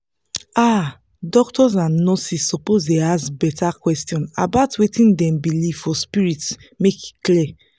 ah doctors and nurses suppose ask better questions about wetin dem believe for spirit make e clear